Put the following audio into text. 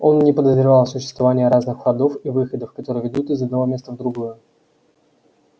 он не подозревал о существовании разных входов и выходов которые ведут из одного места в другое